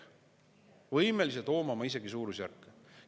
Me pole võimelised hoomama isegi suurusjärke!